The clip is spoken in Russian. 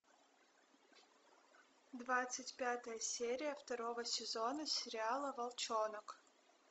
двадцать пятая серия второго сезона сериала волчонок